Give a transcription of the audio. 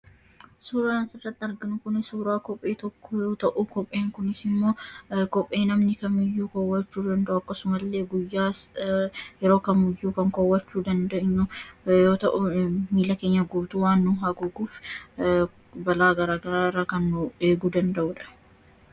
Suuraan asirratti argamu kun suuraa kophee tomkoo yoo ta’u, kopheen kunis immoo kophee namni kamiyyuu kaawwachuu danda’u akkasumas illee guyyaas yeroo kamiyyuu kaawwachuu kan danda’up fi akkasumas miilla keenya guutuu waan haguuguuf balaa gara garaa irraaa kan nu eeguu danda'udha.